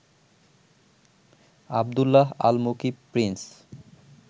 Abdullah Al Mukib Prince